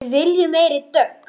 Við viljum meiri dögg!